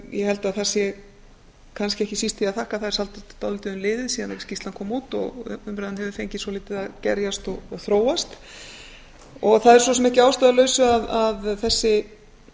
ég held að það sé kannski ekki síst því að þakka að það er dálítið um liðið síðan skýrslan kom út og umræðan hefur fengið svolítið að gerjast og þróast það er svo sem ekki að ástæðulausu að þessi